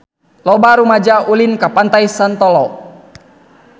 Loba rumaja ulin ka Pantai Santolo